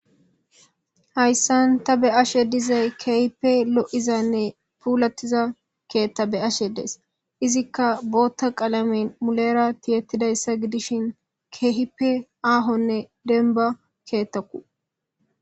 Hayisan ta be ashe dizayisi kehippe lo iza nne pulatiza ketha beashe dayis izika botha qalamen mulera tiyetidayosa gidishin kehippe ahonne demba kethako